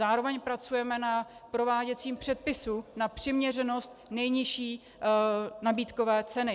Zároveň pracujeme na prováděcím předpisu na přiměřenost nejnižší nabídkové ceny.